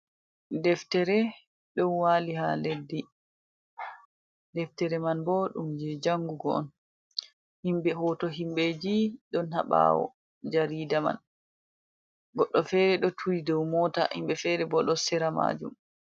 Deftere ɗo wali ha leddi. Deftere man bo ɗum je jangugo on. Himɓe hoto himɓeji ɗon ha ɓawo jarida man. Goɗɗo fere ɗo turi dou mota, himɓe fere bo ɗo sera majum.